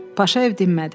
Paşayev dinmədi.